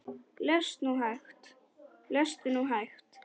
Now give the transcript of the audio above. Lestu nú hægt!